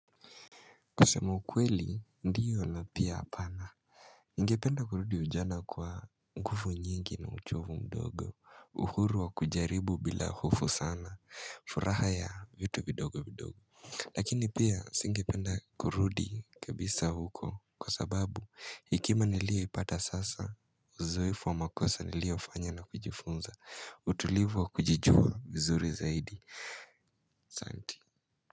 Kusema ukweli ndiyo na pia hapana Ningependa kurudi ujana kwa nguvu nyingi na uchovu mdogo uhuru wa kujaribu bila hofu sana, furaha ya vitu vidogo vidogo Lakini pia nisingependa kurudi kabisa huko kwa sababu hekima niliyoipata sasa, uzoefu wa makosa niliofanya na kujifunza, utulivu wa kujijua vizuri zaidi asante.